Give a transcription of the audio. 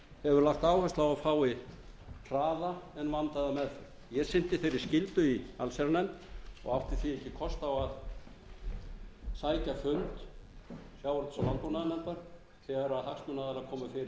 hefur lagt áherslu á að fái hraða en vandaða meðferð ég sinnti þeirri skyldu í allsherjarnefnd og átti því ekki kost á að sækja fund sjávarútvegs og landbúnaðarnefndar þegar hagsmunaaðilar komu fyrir